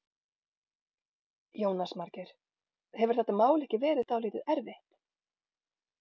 Jónas Margeir: Hefur þetta mál ekki verið dálítið erfitt?